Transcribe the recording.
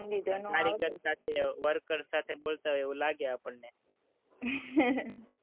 કારીગર સાથે work કરતા, તે બોલતા હોય એવું લાગે આપણને,